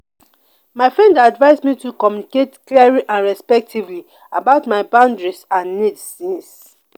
my friend dey advise me to communicate clearly and respectfully about my boundaries and needs. needs.